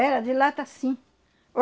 Era de lata, sim.